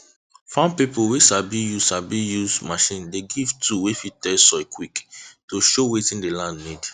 farm pipo wey sabi use sabi use machine dey give tool wey fit test soil quick to show wetin the land need